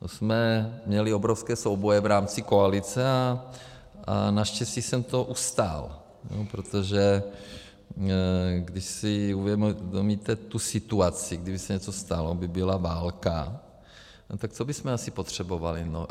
To jsme měli obrovské souboje v rámci koalice a naštěstí jsem to ustál, protože když si uvědomíte tu situaci, kdyby se něco stalo, byla by válka, tak co bychom asi potřebovali?